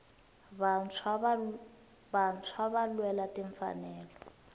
vantshwava lwela tinfanelo